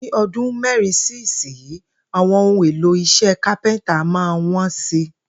Ní o̩dún mé̩rin sí ìsinyìí, àwo̩n ohun èlò is̩é̩ kápé̩ńtà máa wó̩n si